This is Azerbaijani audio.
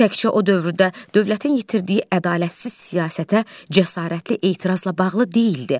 Bu təkcə o dövrdə dövlətin yitirdiyi ədalətsiz siyasətə cəsarətli etirazla bağlı deyildi.